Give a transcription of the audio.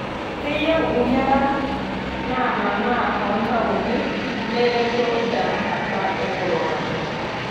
Keyieu nkera naamanaa too ntaoni nereto tenakata e korona.